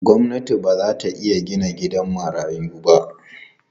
Gwamnati ba za ta iya gina gidan marayu ba.